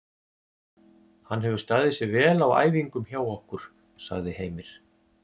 Hann hefur staðið sig vel á æfingum hjá okkur, sagði Heimir.